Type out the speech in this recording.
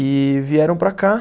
E vieram para cá.